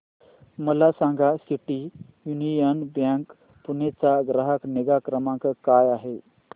मला सांगा City Union Bank Pune चा ग्राहक निगा क्रमांक काय आहे